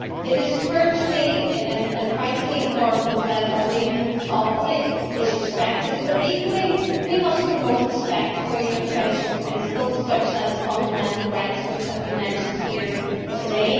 It is vitally important that Albanian sovereignty is respected but, equally, we must promote respect for universal principles such as fundamental rights, which have been mentioned here today.